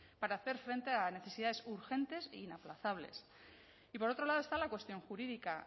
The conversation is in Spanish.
para hacer frente a necesidades urgentes e inaplazables y por otro lado está la cuestión jurídica